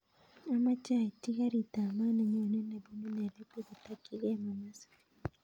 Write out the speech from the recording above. Amoche aityi garit ab maat nenyone nebunu nairobi kotokyingei mombasa